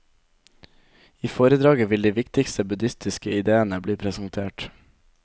I foredraget vil de viktigste buddhistiske idéene bli presentert.